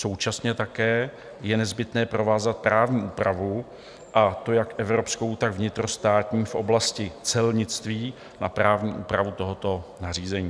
Současně také je nezbytné provázat právní úpravu, a to jak evropskou, tak vnitrostátní, v oblasti celnictví na právní úpravu tohoto nařízení.